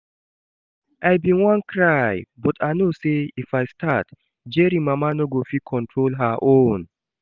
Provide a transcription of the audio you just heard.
I bin wan cry but I know say if I start, Jerry mama no go fit control her own